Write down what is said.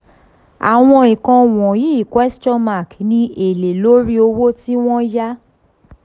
àwọn nǹkan wọ̀nyí ni èlé lórí owó tí wọ́n yá